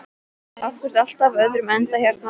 Af hverju er allt á öðrum endanum hérna?